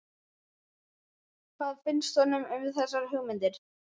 Hvað finnst honum um þessar hugmyndir?